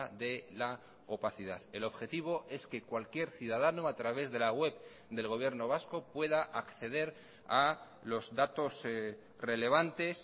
de la opacidad el objetivo es que cualquier ciudadano a través de la web del gobierno vasco pueda acceder a los datos relevantes